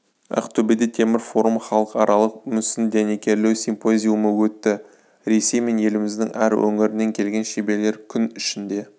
ақтөбеде темір-форум халықаралық мүсін дәнекерлеу симпозиумы өтті ресей мен еліміздің әр өңірінен келген шеберлер күн ішінде